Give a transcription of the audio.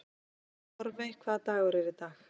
Torfey, hvaða dagur er í dag?